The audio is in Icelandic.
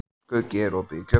Skuggi, er opið í Kjötborg?